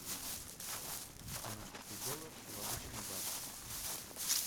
канадский доллар в обычный бакс